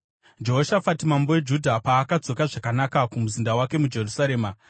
Jehoshafati mambo weJudha paakadzoka zvakanaka kumuzinda wake muJerusarema,